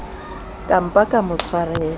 ka mpa ka mo tshwarela